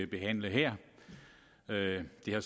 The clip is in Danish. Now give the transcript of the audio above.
behandle her det har